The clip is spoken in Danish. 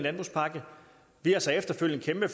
er vist klart